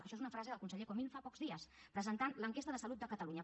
això és una frase del conseller comín fa pocs dies presentant l’enquesta de salut de catalunya